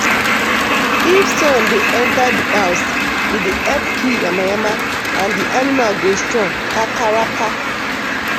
if sun dey enter di house e dey help kill yamayama and di animal go strong kakaraka.